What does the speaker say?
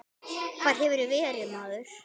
Hvar hefurðu verið, maður?